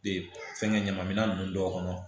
Ee fɛnkɛ ɲamanminɛn ninnu dɔw kɔnɔ